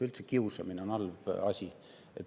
Üldse on kiusamine halb asi.